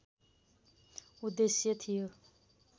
उद्देश्य थियो